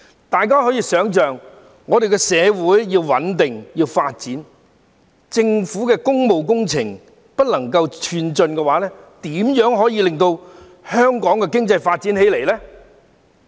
但大家可以想象到，我們的社會要穩定和發展，如果政府的工務工程無法進展，又怎可以令香港經濟發展起來呢？